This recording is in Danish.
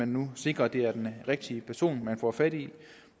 nu sikrer at det er den rigtige person man får fat i